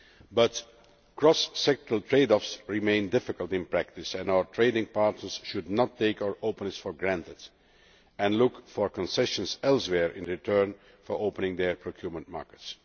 But cross sectoral trade offs remain difficult in practice, and our trading partners should not take our openness for granted and should look for concessions elsewhere in return for opening their procurement markets.